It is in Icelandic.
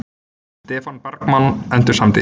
Stefán Bergmann endursamdi.